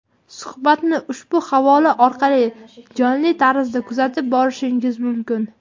Suhbatni ushbu havola orqali jonli tarzda kuzatib borishingiz mumkin.